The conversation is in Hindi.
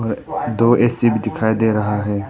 दो ए_सी भी दिखाई दे रहा है।